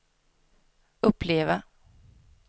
uppleva